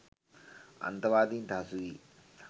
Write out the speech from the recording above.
අන්තවාදීන්ට හසු වී